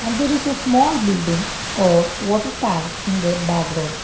and there is a small building or water tank in the background.